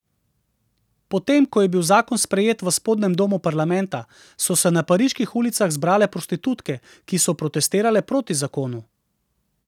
Potem ko je bil zakon sprejet v spodnjem domu parlamenta, so se na pariških ulicah zbrale prostitutke, ki so protestirale proti zakonu.